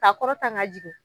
Ka kɔrɔta ka jigin.